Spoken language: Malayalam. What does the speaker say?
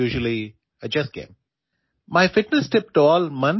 ഇത് ചെസ്സ് മത്സരത്തിലാണ് സാധാരണയായി ഗുണം ചെയ്യാറുള്ളത്